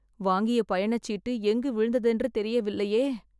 வாங்கிய பயணச்சீட்டு எங்கு விழுந்ததென்று தெரியவில்லையே